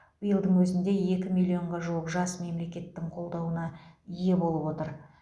биылдың өзінде екі миллионға жуық жас мемлекеттің қолдауына ие болып отыр